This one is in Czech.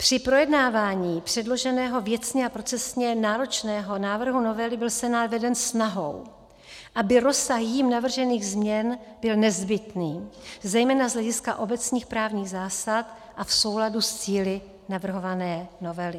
Při projednávání předloženého věcně a procesně náročného návrhu novely byl Senát veden snahou, aby rozsah jím navržených změn byl nezbytný zejména z hlediska obecných právních zásad a v souladu s cíli navrhované novely.